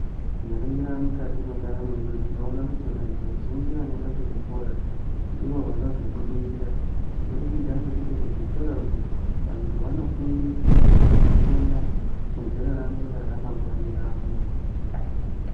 Tikaningira mukati mwendaramo yedu tinoona kuti vantu vazhinji vanoenda kuzvikora, ndivo vanozobudirira kubudikidza ngekuti kuzvikora uko ,vantu vanofundiswa kuti vazokona, kudziraramira, ramangwani ravo.